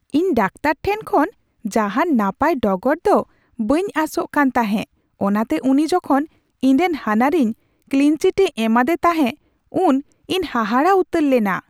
ᱤᱧ ᱰᱟᱠᱛᱟᱨ ᱴᱷᱮᱱ ᱠᱷᱚᱱ ᱡᱟᱦᱟᱱ ᱱᱟᱯᱟᱭ ᱰᱚᱜᱚᱨ ᱫᱚ ᱵᱟᱹᱧ ᱟᱥᱚᱜ ᱠᱟᱱ ᱛᱟᱦᱮᱸ, ᱚᱱᱟᱛᱮ ᱩᱱᱤ ᱡᱚᱠᱷᱚᱱ ᱤᱧ ᱨᱮᱱ ᱦᱟᱱᱦᱟᱨᱤᱧ ᱠᱞᱤᱱ ᱪᱤᱴ ᱮ ᱮᱢᱟᱫᱮ ᱛᱟᱦᱮᱸ ᱩᱱ ᱤᱧ ᱦᱟᱦᱟᱲᱟᱜ ᱩᱛᱟᱹᱨ ᱞᱮᱱᱟ ᱾